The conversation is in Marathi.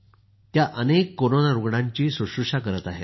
त्या अनेक कोरोना रूग्णांची शुश्रुषा करत आहेत